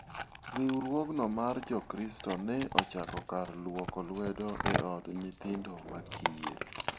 Riwruogno mar Jokristo ne ochako kar lwoko lwedo e od nyithindo ma kiye.